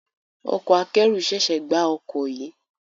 Ọkọ akẹ́rù ṣẹ̀ṣẹ̀ gbá ọkọ̀ yìí